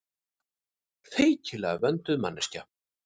Feiknalega vönduð manneskja.